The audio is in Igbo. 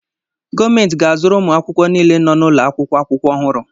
Gọọmentị ga-azụrụ ụmụ akwụkwọ niile nọ n'ụlọ akwụkwọ akwụkwọ ọhụrụ.